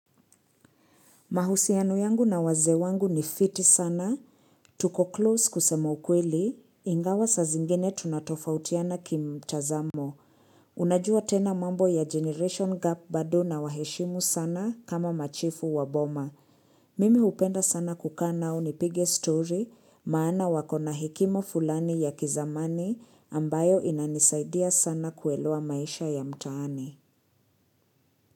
Mahusiano yangu na wazee wangu ni fiti sana. Tuko close kusema ukweli, ingawa saa zingine tunatofautiana ki mtazamo. Unajua tena mambo ya Generation Gap bado na waheshimu sana kama machifu wa boma. Mimi hupenda sana kukaa nao nipige story, maana wako na hekimo fulani ya kizamani ambayo inanisaidia sana kuelewa maisha ya mtaani.